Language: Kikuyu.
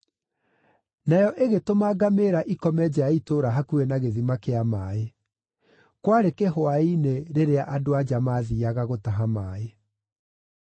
Nayo ĩgĩtũma ngamĩĩra ikome nja ya itũũra hakuhĩ na gĩthima kĩa maaĩ; kwarĩ kĩhwaĩ-inĩ rĩrĩa andũ-a-nja maathiiaga gũtaha maaĩ.